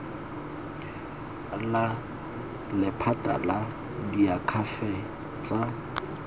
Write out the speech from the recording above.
la lephata la diakhaefe tsa